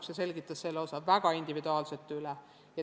Õpetaja selgitas selle osa väga individuaalselt üle.